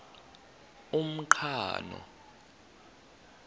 umqhano